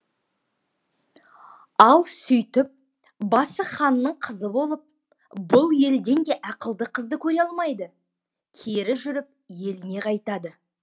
ал сөйтіп басы ханның қызы болып бұл елден де ақылды қызды көре алмайды кері жүріп еліне қайтады